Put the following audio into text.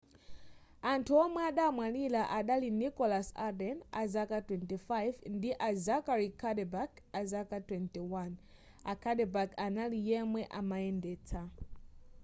anthu omwe adamwalira adali a nicholas alden azaka 25 ndi a zachary cuddeback azaka 21 a cuddeback adali yemwe amayendetsa